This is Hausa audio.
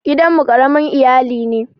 Gidan mu ƙaramin iyali ne.